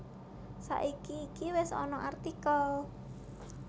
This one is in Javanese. Saiki iki wis ana artikel